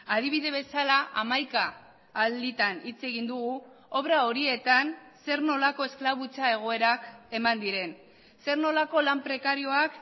adibide bezala hamaika alditan hitz egin dugu obra horietan zer nolako esklabutza egoerak eman diren zer nolako lan prekarioak